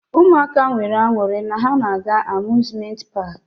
Ụmụaka nwere aṅụrị na ha na-aga amuzment paki.